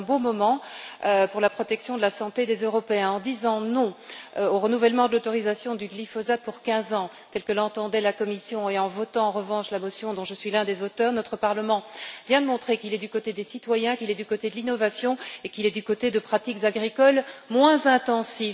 C'est un bon moment pour la protection de la santé des Européens en disant non au renouvellement de l'autorisation du glyphosate pour quinze ans proposé par la Commission, et en votant en revanche la résolution dont je suis l'un des auteurs, notre Parlement vient de montrer qu'il est du côté des citoyens, qu'il est du côté de l'innovation et qu'il est du côté de pratiques agricoles moins intensives.